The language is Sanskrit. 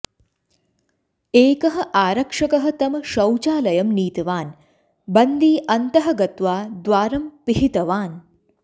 एकः आरक्षकः तं शौचालयं नीतवान् बन्दी अन्तः गत्वा द्वारं पिहितवान्